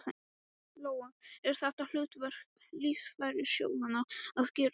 Lóa: Er þetta hlutverk lífeyrissjóðanna að gera þetta?